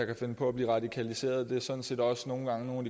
kan finde på at blive radikaliseret det er sådan set også nogle gange nogle